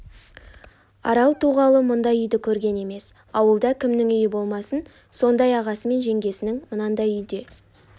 арал туғалы мұндай үйді көрген емес ауылда кімнің үйі болмасын сондай ағасы мен жеңгесінің мынандай үйде